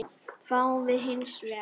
fáum við hins vegar